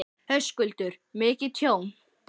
Höskuldur: Mikið tjón?